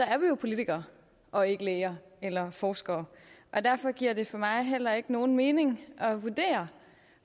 jo politikere og ikke læger eller forskere og derfor giver det for mig heller ikke nogen mening at vurdere